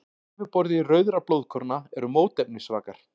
Á yfirborði rauðra blóðkorna eru mótefnisvakar.